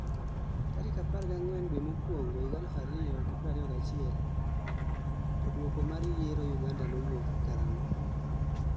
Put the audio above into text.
tarik 14 Due mokuongo 2021 Toduoko mar yiero Uganda wuok karang'o?